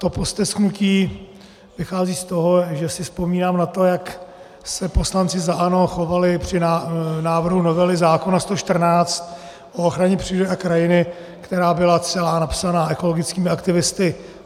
To postesknutí vychází z toho, že si vzpomínám na to, jak se poslanci za ANO chovali při návrhu novely zákona 114 o ochraně přírody a krajiny, která byla celá napsaná ekologickými aktivisty.